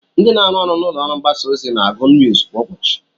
Ndị na-arụ ọrụ n'ụlọọrụ mgbasaozi na-agụ nuuz kwa ụbọchị